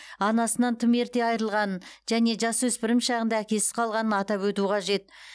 анасынан тым ерте айырылғанын және жасөспірім шағында әкесіз қалғанын атап өту қажет